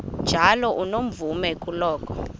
njalo unomvume kuloko